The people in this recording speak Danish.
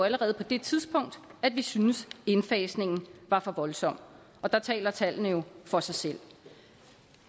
allerede på det tidspunkt at vi syntes indfasningen var for voldsom og der taler tallene jo for sig selv